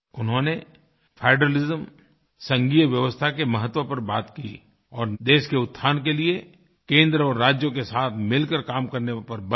उन्होंने फेडरलिज्मसंघीयव्यवस्था के महत्व पर बात की और देश के उत्थान के लिए केंद्र और राज्यों के साथ मिलकर काम करने पर बल दिया